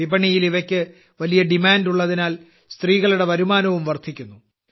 വിപണിയിൽ ഇവയ്ക്ക് വലിയ ഡിമാന്റ് ഉള്ളതിനാൽ സ്ത്രീകളുടെ വരുമാനവും വർദ്ധിക്കുന്നു